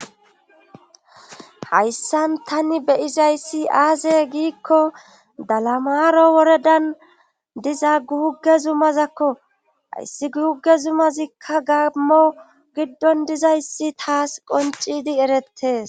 hayssan tani beyizayssi aaze giikko dalamaro woredan diza guuge zumazakko hayssi guuge zumazikka gaammo giddon dizayssi taas qoncidi erettes